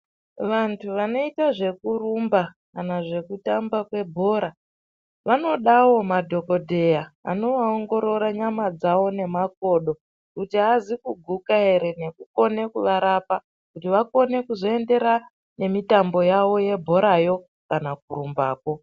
Vantu vanoite zveku rumba kana zveku tamba kwe bhora vanodawo madhokodheya anova ongorora nyama dzavo ne makodo kuti azi kuguka ere neku kone ku varapa kuti vakone kuendera ne mutambo yavo ye bhorayo kana kurumba ko.